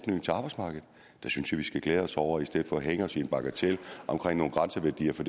arbejdsmarkedet det synes jeg vi skal glæde os over i stedet for at hænge os i en bagatel om nogle grænseværdier for